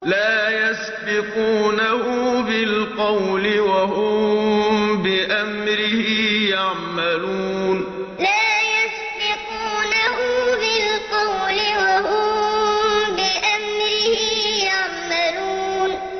لَا يَسْبِقُونَهُ بِالْقَوْلِ وَهُم بِأَمْرِهِ يَعْمَلُونَ لَا يَسْبِقُونَهُ بِالْقَوْلِ وَهُم بِأَمْرِهِ يَعْمَلُونَ